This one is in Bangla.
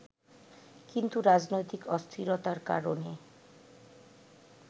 কিন্তু রাজনৈতিক অস্থিরতার কারণে